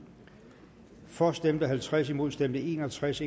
for stemte halvtreds imod stemte en og tres